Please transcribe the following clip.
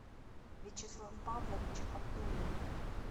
вячеслав павлович абдулин